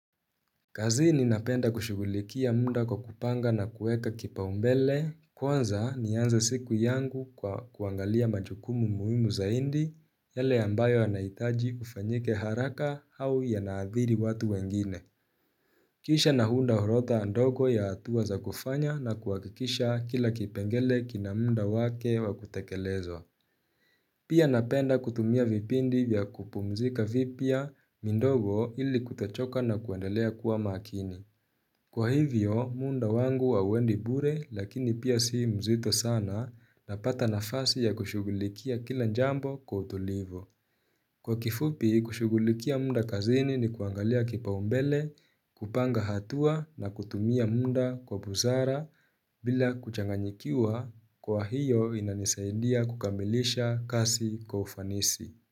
Kazini ninapenda kushughulikia muda kwa kupanga na kueka kipaumbele kwanza nianze siku yangu kwa kuangalia majukumu muhimu zaidi yale ambayo yanaitaji kufanyike haraka au yanaathiri watu wengine Kisha naunda orodha ndogo ya hatuwa za kufanya na kuhakikisha kila kipengele kina muda wake wa kutekelezwa Pia napenda kutumia vipindi vya kupumzika vipia midogo ili kutochoka na kuendelea kuwa makini Kwa hivyo, muda wangu hauendi bure lakini pia si mzito sana napata nafasi ya kushughulikia kila jambo kwa utulivu. Kwa kifupi, kushughulikia muda kazini ni kuangalia kipaumbele, kupanga hatua na kutumia muda kwa busara bila kuchanganyikiwa kwa hiyo inanisaidia kukamilisha kazi kwa ufanisi.